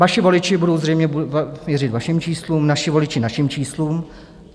Vaši voliči budou zřejmě věřit vašim číslům, naši voliči našim číslům.